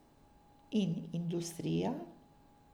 In industrija.